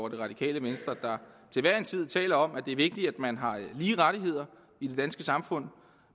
det radikale venstre der til hver en tid taler om at det er vigtigt at man har lige rettigheder i det danske samfund